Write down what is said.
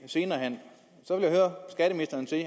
senere hen